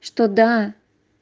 что да